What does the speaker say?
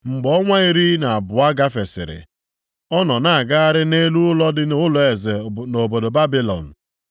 Mgbe ọnwa iri na abụọ gafesịrị ọ nọ na-agagharị nʼelu ụlọ dị nʼụlọeze nʼobodo Babilọn.